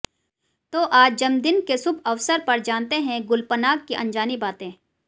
तो आज जन्म दिन के शुभअवसर पर जानते हैं गुलपनाग की अनजानी बातें